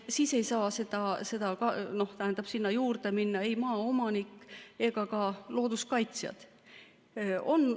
Siis ei saa sinna juurde minna ei maaomanik ega ka looduskaitsjad.